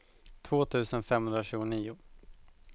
två tusen femhundratjugonio